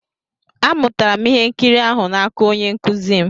Amụtara m ihe nkiri ahụ n'aka onye nkụzi m.